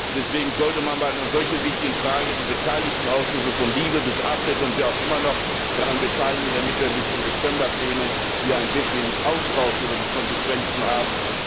Deswegen sollte man bei einer solch wichtigen Frage die beteiligten Ausschüsse von LIBE bis AFET, und wen auch immer noch, daran beteiligen, damit wir bis zum Dezember Plenum hier einen wirklichen Austausch über die Konsequenzen haben.